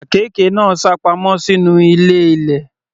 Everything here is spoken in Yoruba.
Àkekè náà sápamọ́ sínú ilé ilẹ̀.